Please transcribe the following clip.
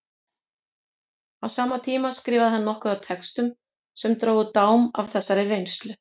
Á sama tíma skrifaði hann nokkuð af textum sem drógu dám af þessari reynslu.